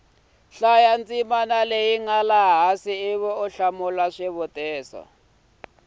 nga laha hansi ivi u